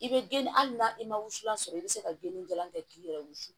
I bɛ geni hali n'a i ma wusulan sɔrɔ i bɛ se ka geni jalan kɛ k'i yɛrɛ wusu